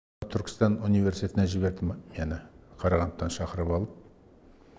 түркістан университетіне жіберді мені қарағандыдан шақырып алып